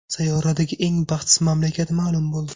Sayyoradagi eng baxtsiz mamlakat ma’lum bo‘ldi.